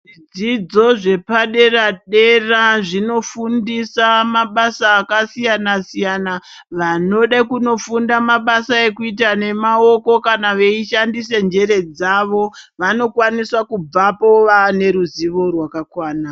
Zvidzidzo zvepa dera dera zvinofundisa mabasa akasiyana siyana vanode kunofunda mabasa ekuita nemaoko kana veyishandise njere dzavo vanokwanise kubvepo vaane ruzivo rwaka kwana.